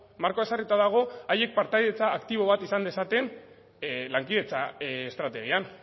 markoa ezarrita dago haiek partaidetza aktibo bat izan dezaten lankidetza estrategian